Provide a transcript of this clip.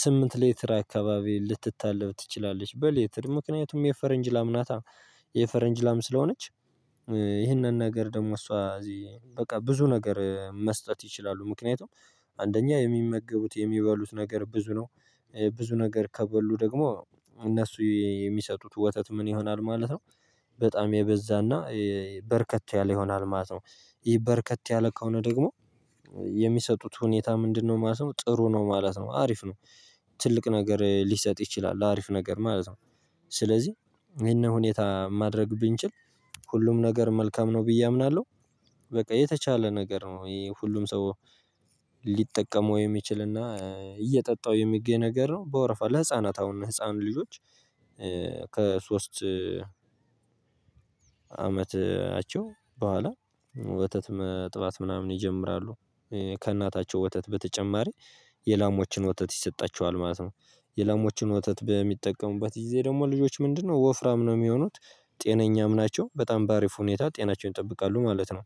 ስምንት ሌትር አካባቢ ልትታለብ ትችላለች በሌትር። ምክንያቱም የፈረንጅ ላም ናታ! የፈረንጅ ላም ስለሆነች ይህንን ነገር ደግሞ እሷ እዚህ በቃ ብዙ ነገር መስጠት ይችላሉ። ምክንያቱም አንደኛ የሚመገቡት የሚበሉት ነገር ብዙ ነው። ብዙ ነገር ከበሉ ደግሞ እነሱ የሚሰጡት ወተት ምን ይሆናል ማለት ነው። በጣም የበዛና በረከት ያለ ይሆናል ማለት ነው። ይህ በረከት ያለ ከሆነ ደግሞ የሚሰጡት ሁኔታ ምንድነው ማለት ነው? ጥሩ ነው ማለት ነው። አሪፍ ነው። ትልቅ ነገር ሊሰጥ ይችላል አሪፍ ነገር ማለት ነው። ስለዚህ ይሄንን ሁኔታ ማድረግ ብንችል ሁሉም ነገር መልካም ነው ብዬ አምናለሁ። በቃ የተቻለ ነገር ነው ይሄ ሁሉም ሰው ሊጠቀመው የሚችልና እየጠጣው የሚገኝ ነገር ነው። በወርፋ ለህፃናት አሁን ለህፃኑ ልጆች ከሶስት አመታቸው በኋላ ወተት መጥባት ምናምን ይጀምራሉ። ከእናታቸው ወተት በተጨማሪ የላሞችን ወተት ይሰጣቸዋል ማለት ነው። የላሞችን ወተት በሚጠቀሙበት ጊዜ ደግሞ ልጆች ምንድነው ወፍራም ነው የሚሆኑት። ጤነኛም ናቸው። በጣም በአሪፍ ሁኔታ ጤናቸውን ይጠብቃሉ ማለት ነው።